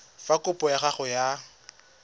fa kopo ya gago ya